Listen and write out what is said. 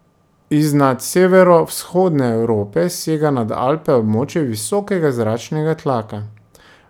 Iznad severovzhodne Evrope sega nad Alpe območje visokega zračnega tlaka.